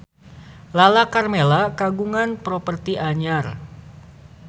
Lala Karmela kagungan properti anyar